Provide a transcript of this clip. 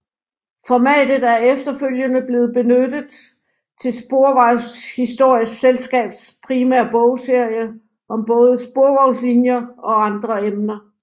Formatet er efterfølgende blevet benyttet til Sporvejshistorisk Selskabs primære bogserie om både sporvognslinjer og andre emner